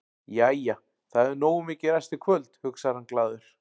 Jæja, það hefur nógu mikið ræst í kvöld, hugsar hann glaður.